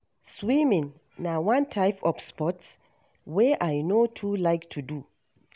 Swimming na one type of sport wey I no too like to do.